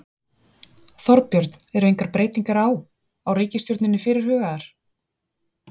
Þorbjörn: Eru engar breytingar á, á ríkisstjórninni fyrir hugaðar?